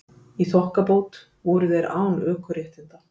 Í þokkabót voru þeir án ökuréttinda